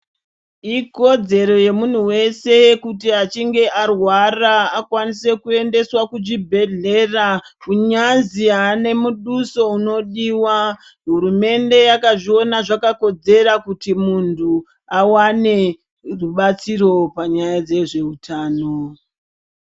Ikodzero yemuntu weshe kuti achinge arwara akwanise Kuendeswa kuzvibhedhlera kunyazi ane muduso unodiwa hurumende yakazviona yakakodzera kuti muntu awane rubatsiro panyaya dzezvehutano.